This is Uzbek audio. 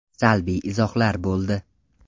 Salbiy izohlar bo‘ldi.